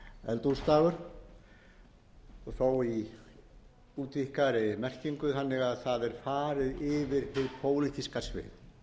eldhúsdagur og þó í útvíkkaðri merkingu þannig að það er farið yfir hið pólitíska svið